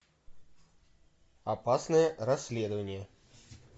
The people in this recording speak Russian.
опасное расследование